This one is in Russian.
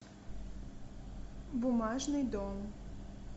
бумажный дом